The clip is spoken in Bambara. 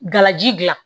Galaji gilan